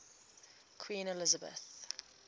queen elizabeth